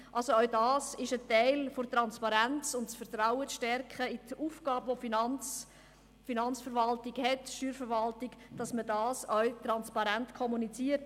Auch das ist Teil der Transparenz, um das Vertrauen in die Aufgabe der Finanzverwaltung und der Steuerverwaltung zu stärken, dass man das auch transparent kommuniziert.